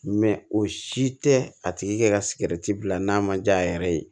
o si tɛ a tigi ka sigɛriti bila n'a ma ja a yɛrɛ ye